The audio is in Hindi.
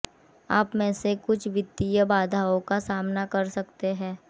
आप में से कुछ वित्तीय बाधाओं का सामना कर सकते हैं